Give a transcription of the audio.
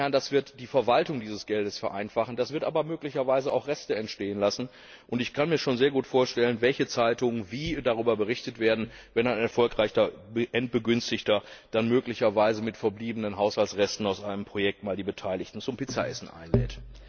Das wird die Verwaltung dieses Geldes vereinfachen, aber möglicherweise auch Reste entstehen lassen. Und ich kann mir schon sehr gut vorstellen, welche Zeitungen wie darüber berichten werden, wenn ein erfolgreicher Endbegünstigter dann möglicherweise mit verbliebenen Haushaltsresten aus einem Projekt die Beteiligten mal zum Pizzaessen einlädt.